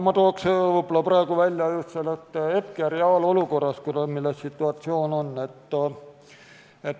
Ma tooks praegu välja hetke reaalolukorra, milline situatsioon on.